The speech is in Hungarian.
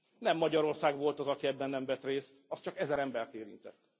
Nem Magyarország volt az, aki ebben nem vett részt, az csak ezer embert érintett.